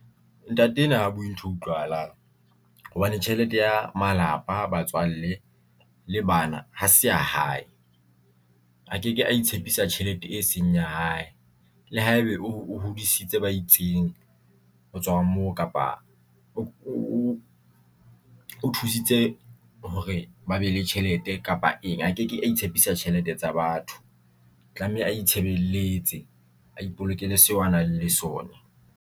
Ntate ena ha bue ntho e utlwahalang hobane tjhelete ya malapa a batswalle le bana ha se ya hae, a ke ke a itshepisa tjhelete e seng ya hae le haebe o hodisitse ba itseng ho tswa mo kapa o thusitse hore ba be le tjhelete kapa eng a ke ke a itshepisa tjhelete tsa batho tlameha a itjhebelletse a ipolokeke seo a nang le sona.